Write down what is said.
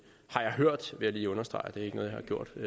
har jeg hørt vil jeg lige understrege det